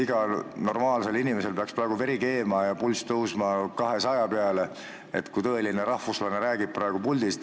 Igal normaalsel inimesel peaks praegu veri keema ja pulss tõusma 200 peale, sest tõeline rahvuslane räägib praegu puldis.